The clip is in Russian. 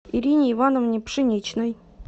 ирине ивановне пшеничной